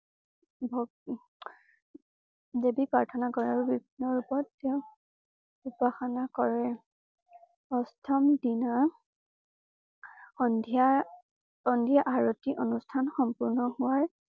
ভক উম দেৱী প্ৰাৰ্থনা কৰে আৰু বিভিন্ন ৰূপত তেওঁ উপাসনা কৰে। অষ্টম দিনা সন্ধ্যাসন্ধ্যা আৰতি অনুষ্ঠান সম্পূৰ্ণ হোৱাৰ